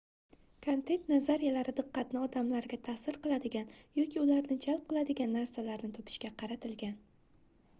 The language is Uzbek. kontent nazariyalari diqqatni odamlarga taʼsir qiladigan yoki ularni jalb qiladigan narsalarni topishga qaratilgan